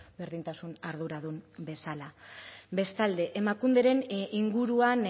berdintasun arduradun bezala bestalde emakunderen inguruan